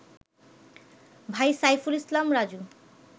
ভাই সাইফুল ইসলাম রাজু